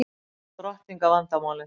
Átta drottninga vandamálið